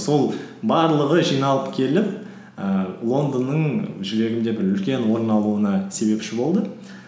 сол барлығы жиналып келіп ііі лондонның жүрегімде бір үлкен орын алуына себепші болды